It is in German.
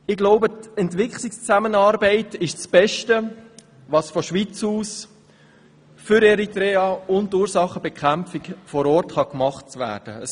Ich glaube, die Entwicklungszusammenarbeit ist das Beste, was von der Schweiz aus für Eritrea und die Ursachenbekämpfung vor Ort getan werden kann.